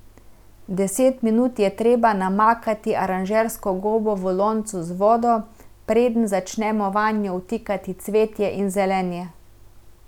Deset minut je treba namakati aranžersko gobo v loncu z vodo, preden začnemo vanjo vtikati cvetje in zelenje.